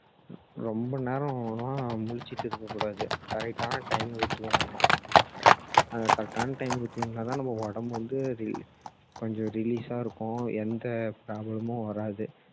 ரொம்ப நேரலாம் முழிச்சிட்டு இருக்க கூடாது correct டான time க்கு தூங்கணும் correct டான time க்கு தூங்குனா தான் நம்ம உடம்பு வந்து அது கொஞ்சம் relief ஆ இருக்கும் எந்த problem உம் வராது